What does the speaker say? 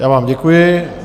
Já vám děkuji.